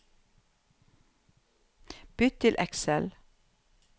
Bytt til Excel